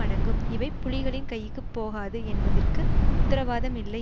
அடங்கும் இவை புலிகளின் கைக்கு போகாது என்பதற்கு உத்தரவாதம் இல்லை